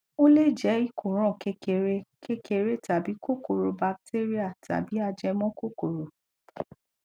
ó le jé ìkóràn kékeré kékeré tàbí kòkòrò batéríà tàbí ajẹmọ kókòrò